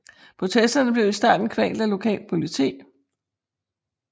Protesterne blev i starten kvalt af lokalt politi